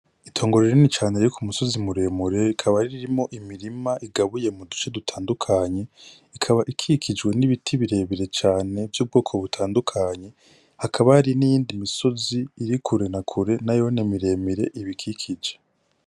Itongo rinini cane riri ku musozi muremure rikaba ririmwo imirima igabuye muduce dutandukanye ikaba ikikijwe n'ibiti birebire cane vyubwoko butandukanye hakaba hari niyindi misozi iri kure na kure nayone miremire ibikikije.